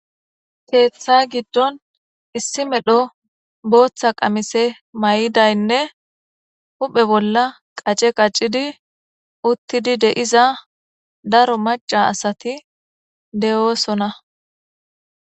Keeththa giddon issi medho booththa qamise may'idaynne huphe bolla qace qacidi uttidi deiza daro maca asati de'oosona.